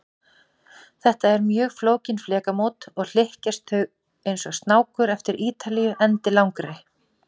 Þetta eru mjög flókin flekamót, og hlykkjast þau eins og snákur eftir Ítalíu endilangri.